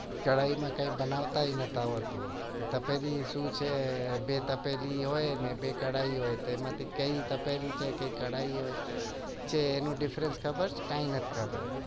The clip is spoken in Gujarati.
કઢાઈ માં કઈ બનાવતા જ નત આવડતું તપેલી ને કઢાઈ હોય એ માંથી એનો difference ખબર કઈ નત ખબર